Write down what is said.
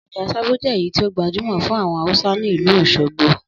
Ọjà sábó je ẹ̀yí ti o gbajúmọ̀ fun àwon Hausa ni ìlú Òsogbo